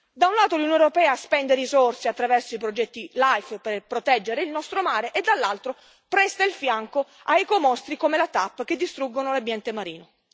Da un lato, l'Unione europea spende risorse attraverso i progetti LIFE per proteggere il nostro mare e, dall'altro, presta il fianco a ecomostri come la TAP che distruggono l'ambiente marino.